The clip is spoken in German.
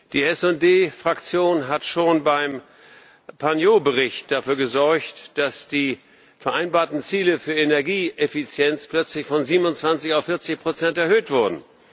Die SD Fraktion hat schon beim Bericht Pargneaux dafür gesorgt, dass die vereinbarten Ziele für Energieeffizienz plötzlich von 27 auf 40 erhöht wurden.